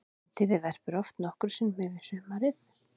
Kvendýrið verpir oft nokkrum sinnum yfir sumarið.